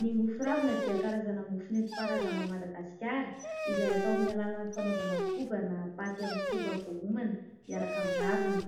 Ny mofo ravina dia karazana mofo nentim-paharazana ao Madagasikara, izay atao amin'ny alalan'ny fanaovana koba na paty amin'ny koba voaomana miaraka amin'ny raviny.